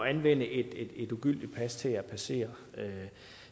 anvende et ugyldig pas til at passere